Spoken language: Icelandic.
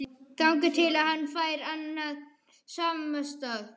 Þangað til hann fær annan samastað